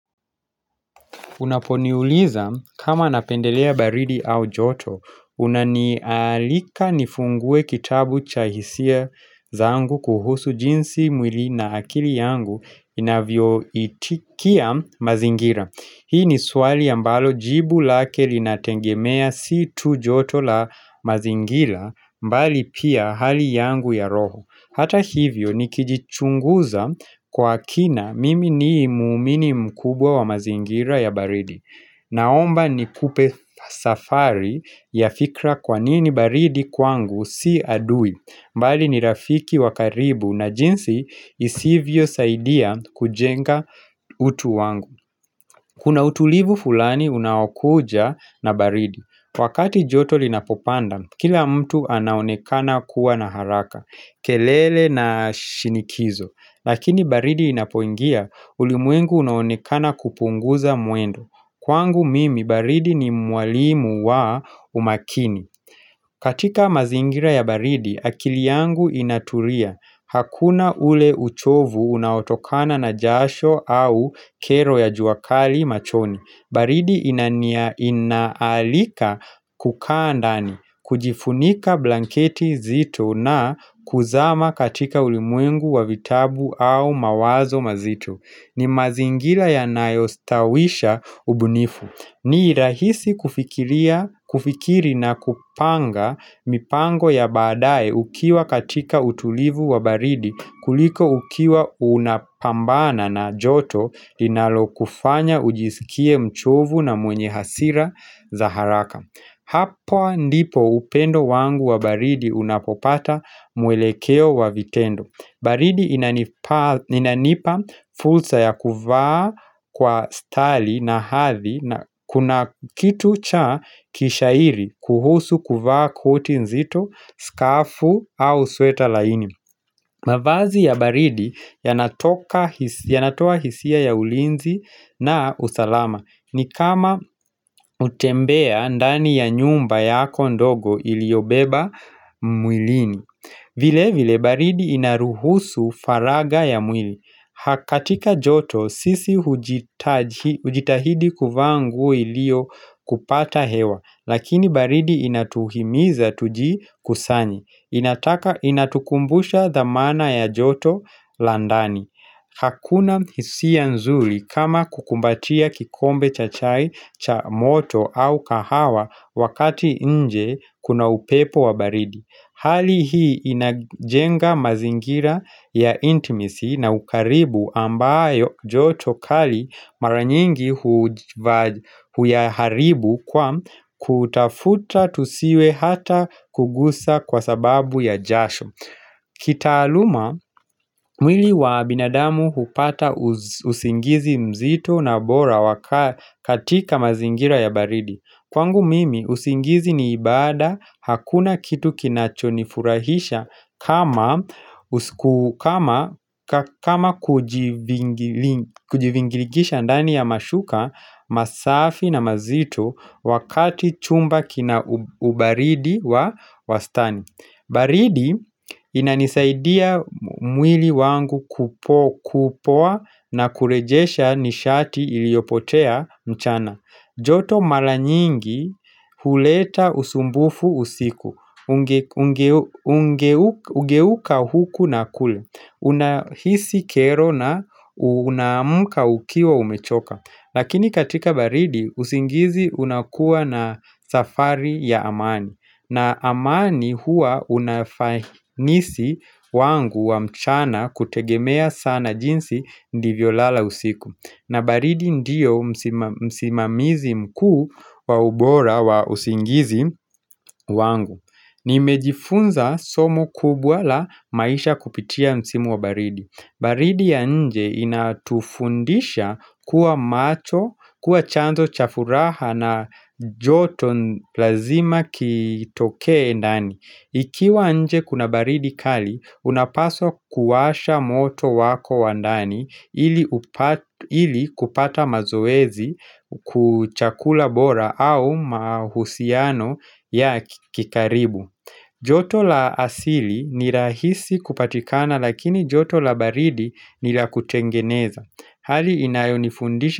Unaponiuliza kama napendelea baridi au joto, unanialika nifungue kitabu cha hisia zangu kuhusu jinsi mwili na akili yangu inavyo itikia mazingira. Hii ni swali ambalo jibu lake linatengemea si tu joto la mazingira mbali pia hali yangu ya roho. Hata hivyo ni kijichunguza kwa kina mimi ni muumini mkubwa wa mazingira ya baridi. Naomba ni kupe safari ya fikra kwa nini baridi kwangu si adui. Mbali ni rafiki wa karibu na jinsi isivyo saidia kujenga utu wangu. Kuna utulivu fulani unaokuja na baridi. Wakati joto linapopanda, kila mtu anaonekana kuwa na haraka, kelele na shinikizo. Lakini baridi inapoingia, ulimwengu unaonekana kupunguza muendo. Kwangu mimi, baridi ni mwalimu wa umakini. Katika mazingira ya baridi, akili yangu inaturia. Hakuna ule uchovu unaotokana na jasho au kero ya jua kali machoni. Baridi inaalika kukaa ndani, kujifunika blanketi zito na kuzama katika ulimwengu wa vitabu au mawazo mazito. Ni mazingila ya nayostawisha ubunifu ni rahisi kufikiri na kupanga mipango ya baadae ukiwa katika utulivu wa baridi kuliko ukiwa unapambana na joto dinalo kufanya ujisikie mchovu na mwenye hasira za haraka Hapo ndipo upendo wangu wa baridi unapopata mwelekeo wa vitendo baridi inanipa fulsa ya kuvaa kwa stali na hathi na kuna kitu cha kishairi kuhusu kuvaa koti nzito, skafu au sweta laini mavazi ya baridi yanatoa hisia ya ulinzi na usalama ni kama utembea ndani ya nyumba yako ndogo iliobeba mwilini vile vile baridi inaruhusu faraga ya mwili. Ha katika joto sisi ujitahidi kuvaa nguo ilio kupata hewa lakini baridi inatuhimiza tuji kusanye. Inataka Inatukumbusha dhamana ya joto la ndani. Hakuna hisia nzuli kama kukumbatia kikombe cha chai cha moto au kahawa wakati nje kuna upepo wa baridi. Hali hii inajenga mazingira ya intimacy na ukaribu ambayo joto kali mara nyingi huya haribu kwa kutafuta tusiwe hata kugusa kwa sababu ya jasho. Kita aluma, mwili wa binadamu hupata usingizi mzito na bora katika mazingira ya baridi Kwangu mimi, usingizi ni ibada, hakuna kitu kinachonifurahisha kama kujivingiligisha ndani ya mashuka masafi na mazito wakati chumba kina ubaridi wa wastani baridi inanisaidia mwili wangu kupoa na kurejesha nishati iliopotea mchana joto mala nyingi huleta usumbufu usiku Kugeuka huku na kule Unahisi kero na unaamka ukiwa umechoka Lakini katika baridi usingizi unakuwa na safari ya amani na amani hua unafainisi wangu wa mchana kutegemea sana jinsi ndivyo lala usiku na baridi ndiyo msima msimamizi mkuu wa ubora wa usingizi wangu Nimejifunza somo kubwa la maisha kupitia msimu wa baridi baridi ya nje inatufundisha kuwa macho, kuwa chanzo cha furaha na joto lazima kitokee ndani. Ikiwa nje kuna baridi kali, unapaswa kuwasha moto wako wa ndani ili kupata mazoezi kuchakula bora au mahusiano ya kikaribu. Joto la asili nirahisi kupatikana lakini joto la baridi nirakutengeneza. Hali inayonifundisha.